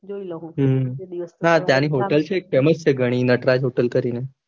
જોઈ લહુ ના ત્યાંની hotel છે એક ઘણી famous છે નટરાજ hotel કરીને